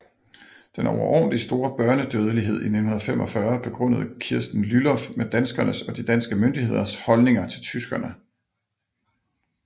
Den overordentlig store børnedødelighed i 1945 begrundede Kirsten Lylloff med danskernes og de danske myndigheders holdninger til tyskerne